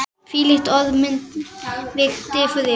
hvílíkt orð mig dynur yfir!